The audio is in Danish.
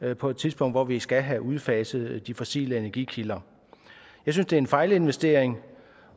er på et tidspunkt hvor vi skal have udfaset de fossile energikilder jeg synes det er en fejlinvestering